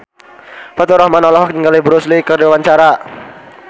Faturrahman olohok ningali Bruce Lee keur diwawancara